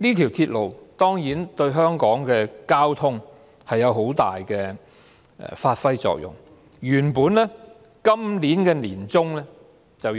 這條鐵路當然對香港的交通發揮很大的作用，原定於今年年中